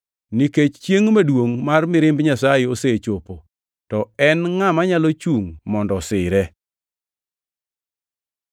Nikech chiengʼ maduongʼ mar mirimb Nyasaye osechopo, to en ngʼama nyalo chungʼ mondo osire.”